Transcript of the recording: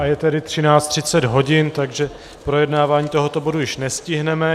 A je tedy 13.30 hodin, takže projednávání tohoto bodu již nestihneme.